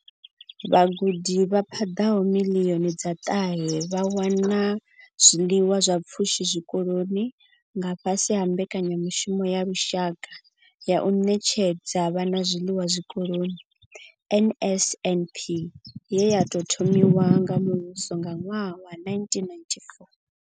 Vhagudi vha paḓaho miḽioni dza ṱahe vha wana zwiḽiwa zwa pfushi zwikoloni nga fhasi ha mbekanyamushumo ya lushaka ya u ṋetshedza vhana zwiḽiwa zwikoloni NSNP ye ya thomiwa nga muvhuso nga ṅwaha wa 1994.